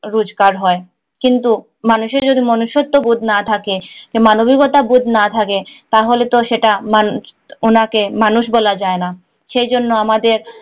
রোজগার হয় কিন্তু মানুষের যদি মনুষ্যত্ব বোধ না থাকে মানবিকতাবোধ না থাকে তাহলে তো সেটা মানুষ ওনাকে মানুষ বলা যায় না সে জন্য আমাদের